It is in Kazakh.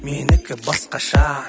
менікі басқаша